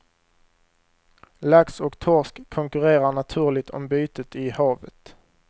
Lax och torsk konkurrerar naturligt om bytet i havet.